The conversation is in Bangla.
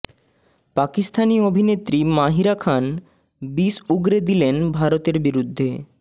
পাকিস্তানি অভিনেত্রী মাহিরা খান বিষ উগরে দিলেন ভারতের বিরুদ্ধে